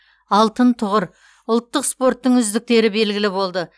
алтын тұғыр ұлттық спорттың үздіктері белгілі болды